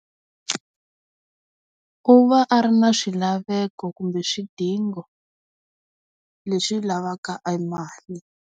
U va a ri na swilaveko kumbe swidingo, leswi lavaka emali.